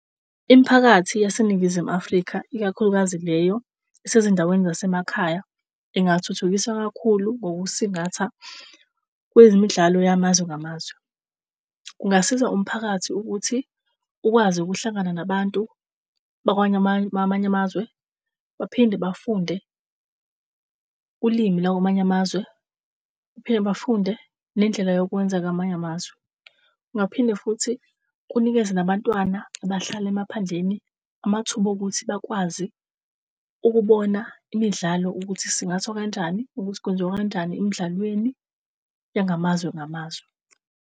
Imphakathi yaseNingizimu Afrika, ikakhulukazi leyo esezindaweni zasemakhaya, ingathuthukiswa kakhulu ngokusingatha kwezimidlalo yamazwe ngamazwe. Kungasiza umphakathi ukuthi ukwazi ukuhlangana nabantu bakwanye amanye, amanye amazwe, baphinde bafunde ulimi lakwamanye amazwe. Baphinde bafunde nendlela yokwenzeka amanye amazwe. Ngaphinde futhi kunikeze nabantwana abahlala emaphandleni amathuba okuthi bakwazi ukubona imidlalo ukuthi isingathwa kanjani, ukuthi kwenziwa kanjani emidlalweni yangamazwe ngamazwe.